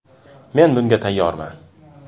Men bunga tayyorman!